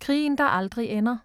Krigen der aldrig ender